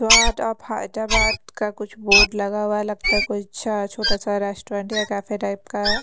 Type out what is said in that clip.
वाट अब हैदराबाद का कुछ बोर्ड लगा हुआ है लगता है कुछ छोटा सा रेस्टोरेंट या कैफे टाइप का है।